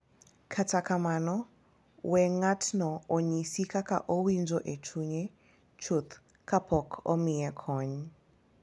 To kar mano, weyo ng’atno onyis kaka owinjo e chunye chuth kapok omiye kony.